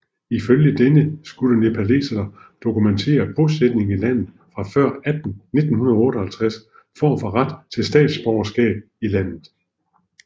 Ifølge denne skulle nepalesere dokumentere bosætning i landet fra før 1958 for at få ret til statsborgerskab i landet